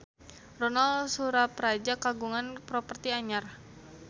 Ronal Surapradja kagungan properti anyar